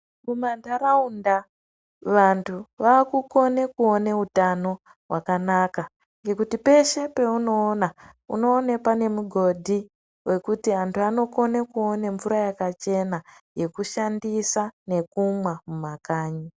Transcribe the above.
Kumantaraunta Vantu vakukone kuona hutano hwakanaka nekuti peshe paunoona unoona pane mughodhi wekuti Vantu vanokone kuwone mvura dzakachena yekushandisa nekumwa mumakanyi.